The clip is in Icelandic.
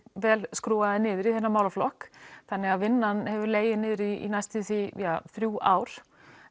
vel skrúfaðir niður í þessum málaflokk þannig að vinnan hefur legið niðri í næstum því þrjú ár